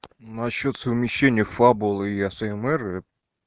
насчёт совмещения фабулы и асмр